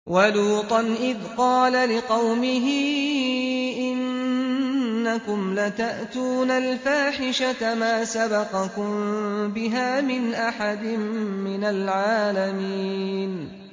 وَلُوطًا إِذْ قَالَ لِقَوْمِهِ إِنَّكُمْ لَتَأْتُونَ الْفَاحِشَةَ مَا سَبَقَكُم بِهَا مِنْ أَحَدٍ مِّنَ الْعَالَمِينَ